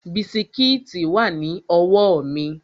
Bisikíìtì wà ní ọwọ́ mi